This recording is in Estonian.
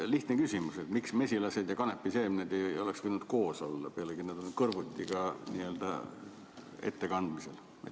Lihtne küsimus: miks mesilased ja kanepiseemned ei oleks võinud olla koos, pealegi on nad kõrvuti ettekandmisel?